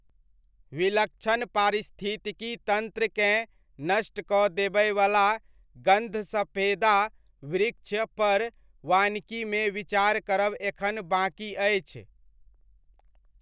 विलक्षण पारिस्थितिकी तन्त्रकेँ नष्ट कऽ देबयवला गन्धसफेदा वृक्षपर वानिकीमे विचार करब एखन बाँकी अछि।